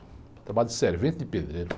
Trabalho de servente de pedreiro.